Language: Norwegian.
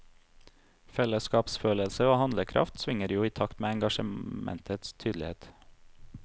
Fellesskapsfølelse og handlekraft svinger jo i takt med engasjementets tydelighet.